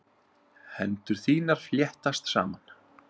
Hendur þínar fléttast saman.